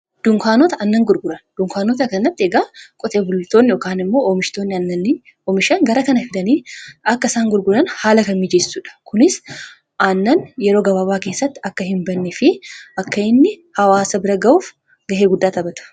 dunkaanota annan gurguran, dunkaanota kana egaa qotee bultoonni yookaan immoo oommishtoonni aannanii oomishan gara kana fidanii akka isaan gurguran haala kan miijeessuudha. kunis aannan yeroo gabaabaa keessatti akka hin banne fi akka inni hawaasa bira ga'uuf gahee guddaa taphatu.